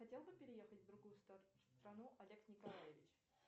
хотел бы переехать в другую страну олег николаевич